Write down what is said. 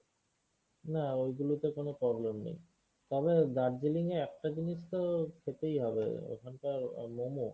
না ওইগুলোতে কোনো problem নেই। তবে দার্জিলিং এ একটা জিনিস তো খেতেই হবে ওখানকার আহ momo.